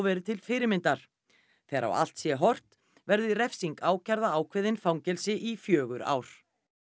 verið til fyrirmyndar þegar á allt sé horft verður refsing ákærða ákveðin fangelsi í fjögur ár